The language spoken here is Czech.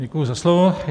Děkuji za slovo.